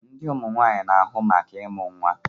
Ndi Ụmụ nwanyị na-ahụ maka ịmụ nwa